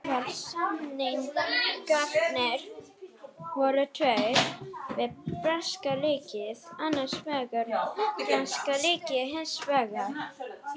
Sú breyting sem stefnt var að